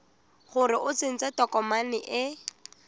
gore o tsentse tokomane e